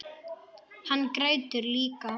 Hann grætur líka.